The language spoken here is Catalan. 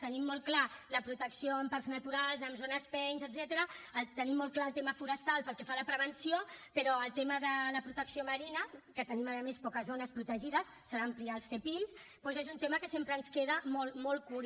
tenim molt clar la protecció en parcs naturals en zones pein etcètera tenim molt clar el tema forestal pel que fa a la prevenció però el tema de la protecció marina que tenim a més poques zones protegides s’han d’ampliar els zepim doncs és un tema que sempre ens queda molt molt curt